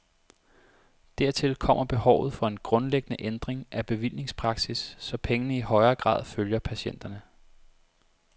Dertil kommer behovet for en grundlæggende ændring af bevillingspraksis, så pengene i højere grad følger patienterne.